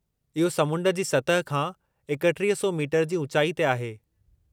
इहो समुंड जी सतह खां 3100 मीटर जी ऊचाई ते आहे।